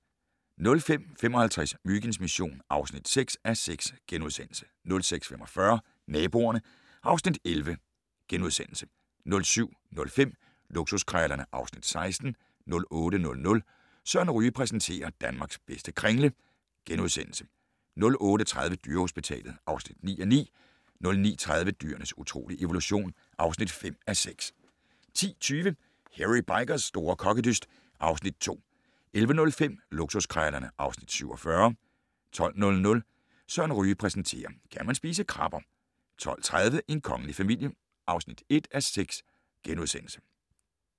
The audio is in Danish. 05:55: Myginds mission (6:6)* 06:45: Naboerne (Afs. 11)* 07:05: Luksuskrejlerne (Afs. 16) 08:00: Søren Ryge præsenterer: Danmarks bedste kringle * 08:30: Dyrehospitalet (9:9) 09:30: Dyrenes utrolige evolution (5:6) 10:20: Hairy Bikers' store kokkedyst (Afs. 2) 11:05: Luksuskrejlerne (Afs. 47) 12:00: Søren Ryge præsenterer: Kan man spise krabber? 12:30: En kongelig familie (1:6)*